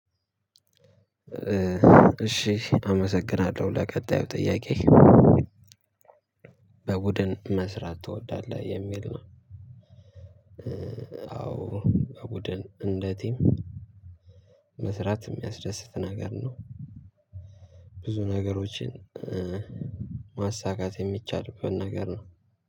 እሺ አመሰግናለሁ ለቀጣዩ ጥያቄ በቡድን መስራት ትወዳለህ የሚል ነው? አዎ በቡድን እንደ ቲም መስራት የሚያስደስት ነገር ነው። ብዙ ነገሮችን ማሳካት የሚቻልበት ነገር ነው።